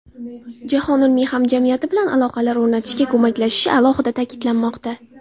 jahon ilmiy hamjamiyati bilan aloqalar o‘rnatishga ko‘maklashishi alohida ta’kidlanmoqda.